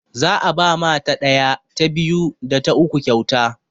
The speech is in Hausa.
Za'a ba ma ta ɗaya, ta biyu, da ta uku kyauta.